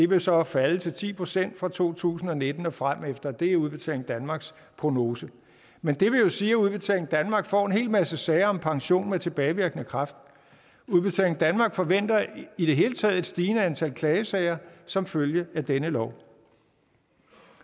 vil så falde til ti procent fra to tusind og nitten og fremefter det er udbetaling danmarks prognose men det vil jo sige at udbetaling danmark får en hel masse sager om pension med tilbagevirkende kraft udbetaling danmark forventer i det hele taget et stigende antal klagesager som følge af denne lov